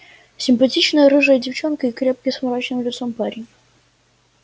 симпатичная рыжая девчонка и крепкий с мрачным лицом парень